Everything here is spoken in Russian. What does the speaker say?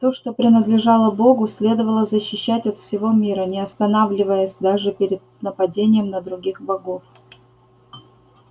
то что принадлежало богу следовало защищать от всего мира не останавливаясь даже перед нападением на других богов